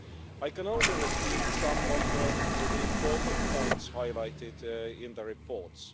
I can only repeat some of the important points highlighted in the reports.